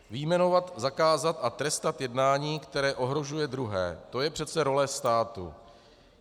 Vyjmenovat, zakázat a trestat jednání, které ohrožuje druhé - to je přece role státu.